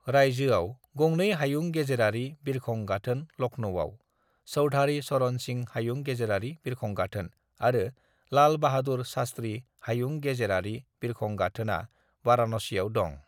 रायजोआव गंनै हायुं गेजेरारि बिरखं गाथोन लखनऊआव (चौधारि चरण सिं हायुं गेजेरारि बिरखं गाथोन) आरो लाल बाहादुर शास्त्रि हायुं गेजेरारि बिरखं गाथोना वारानासियाव दं।